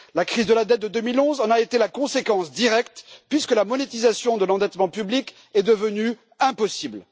La crise de la dette de 2011 en a été la conséquence directe puisque la monétisation de l'endettement public est devenue impossible.